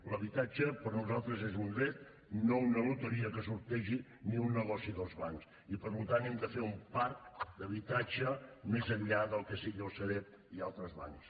l’habitatge per nosaltres és un dret no una loteria que es sortegi ni un negoci dels bancs i per tant hem de fer un parc d’habitatge més enllà del que siguin la sareb i altres bancs